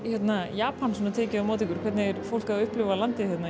Japan tekið á móti ykkur hvernig er fólkið að upplifa landið